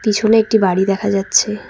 পিছনে একটি বাড়ি দেখা যাচ্ছে।